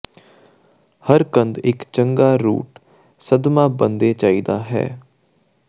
ਹਰ ਕੰਦ ਇੱਕ ਚੰਗਾ ਰੂਟ ਸਦਮਾ ਬਣਦੇ ਚਾਹੀਦਾ ਹੈ